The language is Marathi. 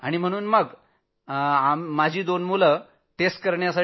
तेव्हा दोन्ही मुलं गेली चाचणी करायला